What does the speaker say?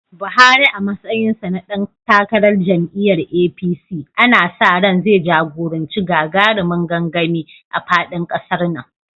Buhari a matsayinsa na dan takarar jam’iyyar APC, ana sa ran zai jagoranci gagarumin gangami a faɗin ƙasar nan.